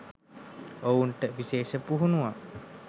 ඔවුනට විශේෂ පුහුණුවක්